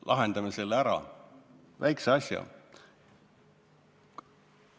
Lahendame selle väikese asja ära!